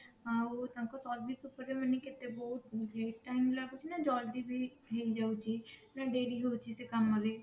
ଆଉ ତାଙ୍କ service ଉପରେ ମାନେ କେତେ ବହୁତ late time ଲାଗୁଛି ନା ଜଲଦି ବି ହେଇ ଯାଉଛି ନା ଡେରି ହଉଛି ସେ କାମରେ